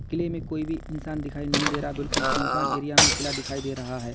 किले में कोई भी इंसान दिखाई नहीं दे रहा। बिल्कुल सुनसान एरिया में किला दिखाई दे रहा है।